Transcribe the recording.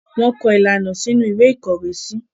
wón kọ ilana sínú Ìwé ìkọ̀wésí